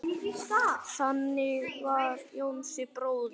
Þannig var Jónsi bróðir.